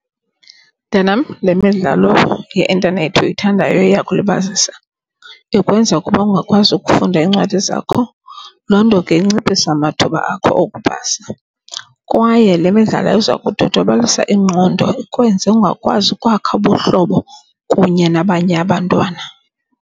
Mntanam, le midlalo yeintanethi uyithandayo iyakulibazisa. Ikwenza ukuba ungakwazi ukufunda iincwadi zakho. Loo nto ke inciphisa amathuba akho okupasa, kwaye le midlalo iza kudodobalisa ingqondo ikwenze ungakwazi ukwakha ubuhlobo kunye nabanye abantwana.